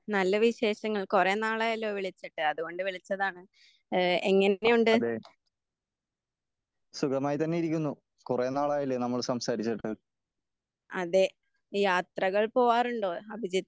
നല്ല വിശേഷങ്ങൾ കുറേ നാളായല്ലോ വിളിച്ചിട്ട് അത് കൊണ്ട് വിളിച്ചതാണ്. ഏഹ് എങ്ങനെയുണ്ട്? അതെ യാത്രകൾ പോവാറുണ്ടോ അഭിജിത്ത്?